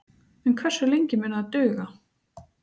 En hversu lengi mun það duga?